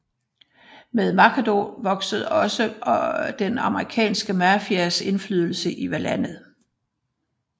Med Machado voksede også den amerikanske mafias indflydelse i landet